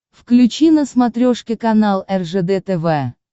включи на смотрешке канал ржд тв